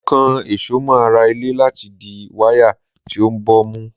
Mo kan èso mọ ara ilé láti di wáyà tí ó ń bọ̀ mú.